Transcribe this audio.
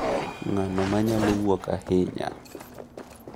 Ng’ano ma nyalo wuok ahinya?